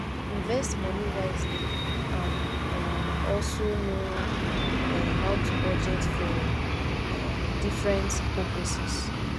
invest money wisely and um also know um how to budget for um different purposes